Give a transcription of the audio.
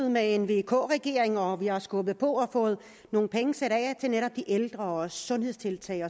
med en vk regering og vi har skubbet på og fået nogle penge sat af til netop de ældre sundhedstiltag